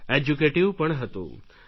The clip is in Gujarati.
એજ્યુકેટીવ પણ હતું